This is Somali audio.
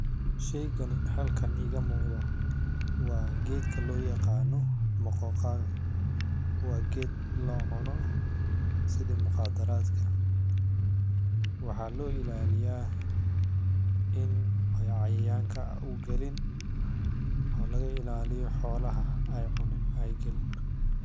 Sheygani halkan iga muqdo wa gedka lo yaqano maqoqa, wa ged lacuna sidhi muqadaratka waxa lo ilaliya in cayayanka uu galin o laga ilaliyo xolaha ay galin.